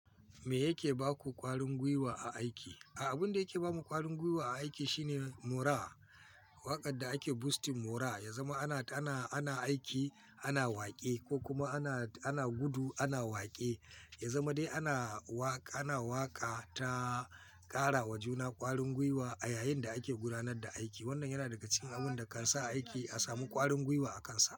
Me yake ba ku ƙwarin gwiwa a aiki? Abin da yake ba mu ƙwarin gwiwa a aiki shine moraa. Waƙar da ake boosting moraa, ya zama ana aiki ana waƙe ko kuma ana gudu ana waƙe. Ya zama dai ana waƙa ta ƙara wa juna ƙwarin gwiwa a yayin da ake gudanar da aiki. Wannan yana daga cikin abun da kan sa aiki a samu ƙwarin gwiwa a kansa.